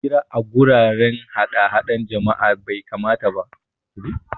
Hira a guraren hadahda jama'a bai kamata ba